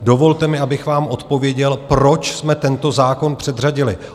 Dovolte mi, abych vám odpověděl, proč jsme tento zákon předřadili.